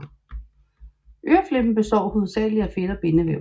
Øreflippen består hovedsageligt af fedt og bindevæv